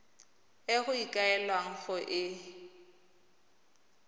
e go ikaelelwang go e